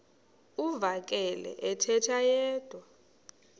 uvakele ethetha yedwa